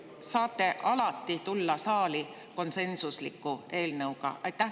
Kas te saate alati tulla saali konsensusliku eelnõuga?